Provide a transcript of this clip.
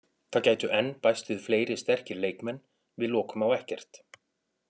Það gætu enn bæst við fleiri sterkir leikmenn, við lokum á ekkert.